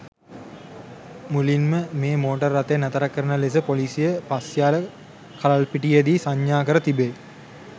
මුලින්ම මේ මෝටර් රථය නතර කරන ලෙස පොලිසිය පස්යාල කලල්පිටියේදී සංඥා කර තිබේ.